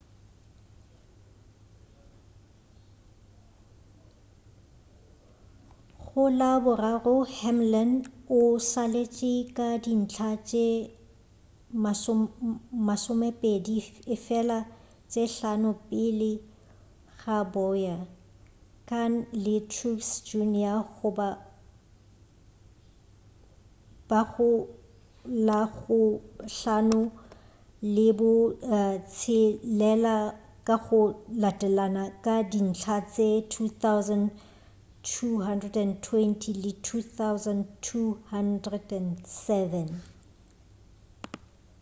go la boraro hamlin o šaletše ka dintlha tše masomepedi efela tše hlano pele ga bowyer kahne le truex jr ba go la bo hlano le bo tshelela ka go latelana ka dintlha tše 2,220 le 2,207